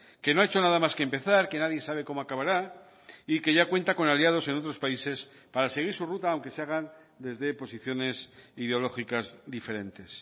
que no ha hecho nada más que empezar que nadie sabe cómo acabará y que ya cuenta con aliados en otros países para seguir su ruta aunque se hagan desde posiciones ideológicas diferentes